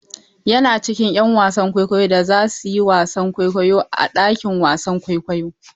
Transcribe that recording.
Yana cikin 'yan wasan kwaikwayo da za su yi wasan kwaikwayo a ɗakin wasan kwaikwayo.